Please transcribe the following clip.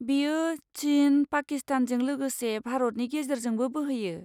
बियो चिन, पाकिस्तानजों लोगोसे भारतनि गेजेरजोंबो बोहैयो।